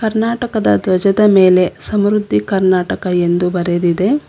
ಕರ್ನಾಟಕದ ದ್ವಜದ ಮೇಲೆ ಸಮೃದ್ಧಿ ಕರ್ನಾಟಕ ಎಂದು ಬರೆದಿದೆ.